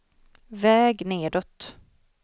väg nedåt